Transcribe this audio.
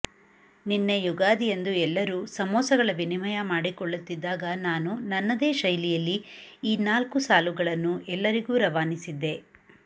ನಿನ್ನೆ ಯುಗಾದಿಯಂದು ಎಲ್ಲರೂ ಸಮೋಸಗಳ ವಿನಿಮಯ ಮಾಡಿಕೊಳ್ಳುತ್ತಿದ್ದಾಗ ನಾನು ನನ್ನದೇ ಶೈಲಿಯಲ್ಲಿ ಈ ನಾಲ್ಕು ಸಾಲುಗಳನ್ನು ಎಲ್ಲರಿಗೂ ರವಾನಿಸಿದ್ದೆ